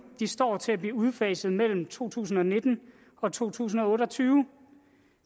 de står til at blive udfaset mellem to tusind og nitten og to tusind og otte og tyve